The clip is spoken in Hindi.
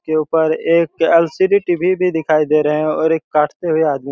के ऊपर एक एल-ई-डी टी-वी भी दिखाई दे रहा हैं और एक काटते हुए आदमी--